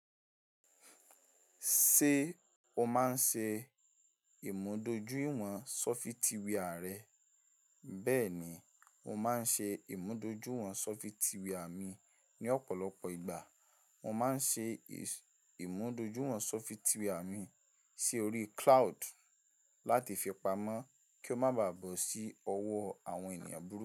Ṣé o máa ń ṣe ìmúdójúìwọ̀n sọfitíwìà rẹ? Bẹ́ẹ̀ ni, mo máa ń ṣe ìmúdójúìwọ̀n sọfitíwìà mi ní ọ̀pọ̀lọpọ̀ ìgbà. Mo máa ń ṣe ìmúdójúìwọ̀n sọfitíwì à mi si órí cloud láti fi pamọ́ kí ó má bàá bọ̀ sí ọwọ́ àwọn ènìyàn burúkú.